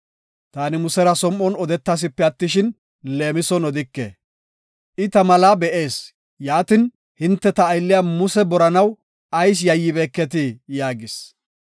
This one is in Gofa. Taani Musera som7on odetasipe attishin, leemison odike. I ta malaa be7ees. Yaatin, hinte ta aylliya Muse boranaw ayis yayyibeketii?” yaagis.